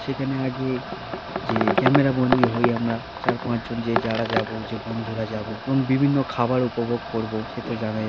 সেখানে আগে যেয়ে ক্যামেরা বন্দি হয়ে আমরা চার পাঁচ জন যে যারা যাব যে বন্ধুরা যাব এবং বিভিন্ন খাবার উপভোগ করব সে তো জানাই--